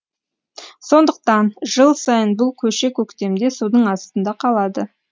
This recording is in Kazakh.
сондықтан жыл сайын бұл көше көктемде судың астында қалады